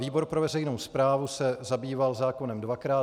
Výbor pro veřejnou správu se zabýval zákonem dvakrát.